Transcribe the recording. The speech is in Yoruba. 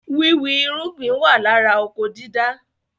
Wíwì irúgbìn wà lára oko dídá